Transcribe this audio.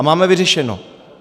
A máme vyřešeno.